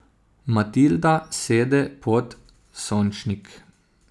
Matilda sede pod sončnik.